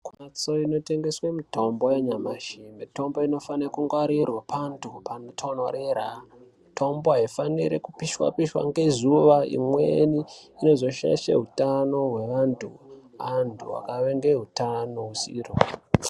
Kumhatso inotengeswe mitombo yanyamashi mitombo inofane kungwarirwa pantu panotonhorera. Mitombo haifaniri kupishwa-pishwa ngezuva imweni inozoshaishe hutano hwevantu, antu akave ngehutano husiro.